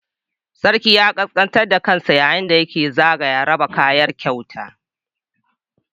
Sarki ya ƙasƙantar da kansa yayin da yake zagaya raba kayan kyauta